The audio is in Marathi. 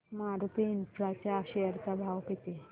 मारुती इन्फ्रा च्या शेअर चा भाव किती